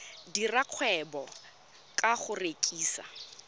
dira kgwebo ka go rekisa